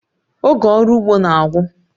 Oge ọrụ ugbo na-agwụ